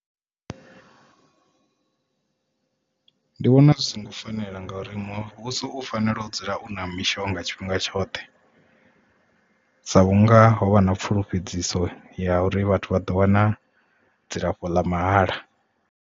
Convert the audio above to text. Ndi vhona zwi songo fanela nga uri muvhuso u fanela u dzula u na mishonga tshifhinga tshoṱhe sa vhunga ho vha na pfulufhedziso ya uri vhathu vha ḓo wana dzilafho ḽa mahala.